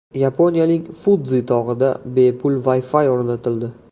Yaponiyaning Fudzi tog‘ida bepul Wi-Fi o‘rnatildi.